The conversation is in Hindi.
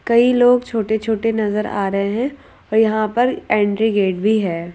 कई लोग छोटे छोटे नजर आ रहे हैं और यहां पर एंट्री गेट भी है।